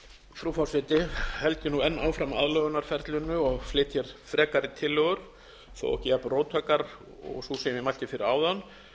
frú forseti held ég nú enn áfram aðlögunarferlinu og flyt hér frekari tillögur þó ekki jafnróttækar og sú sem ég mælti fyrir áðan